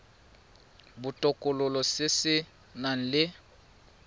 botokololo se se nang le